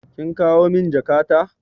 Kin kawo min jakata?